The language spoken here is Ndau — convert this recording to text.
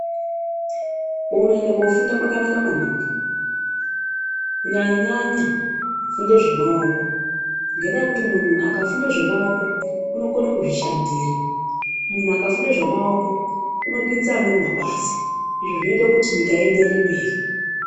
Kunoenda kofunda kwakanaka maningi. Kunyanyanya kufunde zvemaoko ngendaa yekuti munhu akafunde zvemaoko unokone kuzvishandira. Munhu akafunde zvemaoko unopinza amweni mabasa zvinoita kuti nyika ienderere mberi.